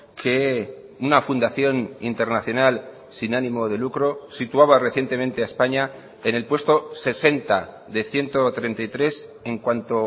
que una fundación internacional sin ánimo de lucro situaba recientemente a españa en el puesto sesenta de ciento treinta y tres en cuanto